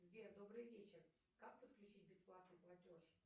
сбер добрый вечер как подключить бесплатный платеж